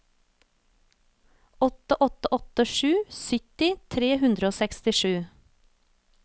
åtte åtte åtte sju sytti tre hundre og sekstisju